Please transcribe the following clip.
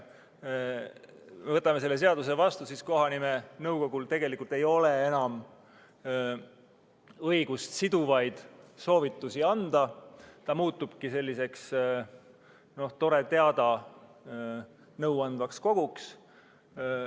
Kui me võtame selle seaduse vastu, siis ei ole kohanimenõukogul tegelikult enam õigust siduvaid soovitusi anda ja ta muutubki selliseks tore-teada-nõu andvaks koguks.